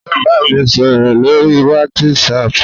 Ó bámi sọ̀rọ̀ lórí WhatsApp